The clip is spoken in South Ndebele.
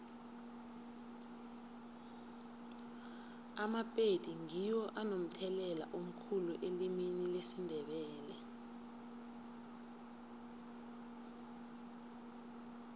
amapedi ngiwo anomthelela omkhulu elimini lesindebele